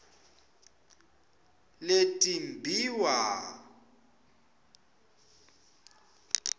letimbiwa